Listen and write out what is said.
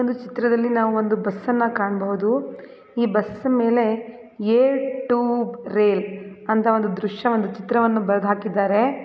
ಒಂದು ಚಿತ್ರದಲ್ಲಿ ನಾವು ಒಂದು ಬಸ್ಸನ್ನ ಕಾಣಬಹುದು ಈ ಬಸ್ ಮೇಲೆ ಏರ್ ಟು ರೈಲ್ ಅಂತ ಒಂದು ದೃಶ್ಯವನ್ನು ಚಿತ್ರವನ್ನು ಬರ್ದು ಹಾಕಿದ್ದಾರೆ.